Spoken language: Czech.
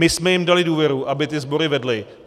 My jsme jim dali důvěru, aby ty sbory vedli.